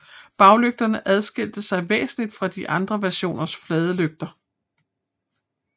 Baglygterne adskilte sig væsentligt fra de andre versioners flade lygter